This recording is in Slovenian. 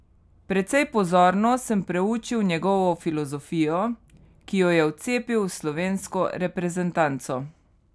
Precej pozorno sem preučil njegovo filozofijo, ki jo je vcepil v slovensko reprezentanco.